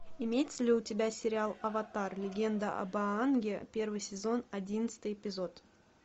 имеется ли у тебя сериал аватар легенда об аанге первый сезон одиннадцатый эпизод